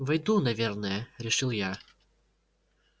войду наверное решил я